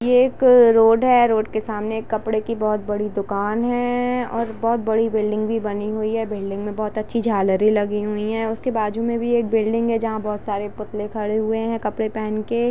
ये एक रोड हैं रोड के सामने कपड़े की एक बहुत बड़ी दुकान हैं ओर बहुत बड़ी बिल्डिंग भी बनी हुई हैं बिल्डिंग मे बहुत अच्छी झालरे लगी हुई हैं उसके बाजू मे भी एक बिल्डिंग हैं जहा बहुत सारे पुतले खड़े हुए हैं कपड़े पेहन के--